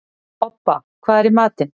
Obba, hvað er í matinn?